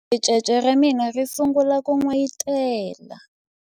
ricece ra mina ri sungule ku n'wayitela